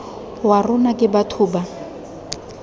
wa rona ke batho ba